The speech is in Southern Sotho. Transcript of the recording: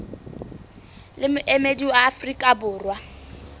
le moemedi wa afrika borwa